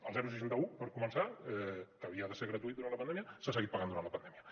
el seixanta un per començar que havia de ser gratuït durant la pandèmia s’ha seguit pagant durant la pandèmia